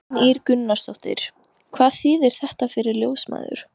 Kristín Ýr Gunnarsdóttir: Hvað þýðir þetta fyrir ljósmæður?